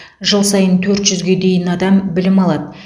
жыл сайын төрт жүзге дейін адам білім алады